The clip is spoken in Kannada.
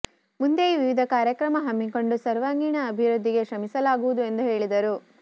ಮುಂದೆಯೂ ವಿವಿಧ ಕಾರ್ಯಕ್ರಮ ಹಮ್ಮಿಕೊಂಡು ಸರ್ವಾಂಗೀಣ ಅಭಿವೃದ್ಧಿಗೆ ಶ್ರಮಿಸಲಾಗುವುದು ಎಂದು ಹೇಳಿದರು